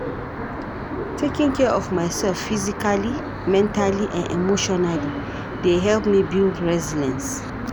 Taking care of myself physically, mentally and emotionally dey help me build resilience.